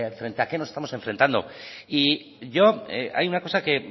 frente a qué nos estamos enfrentando y yo hay una cosa que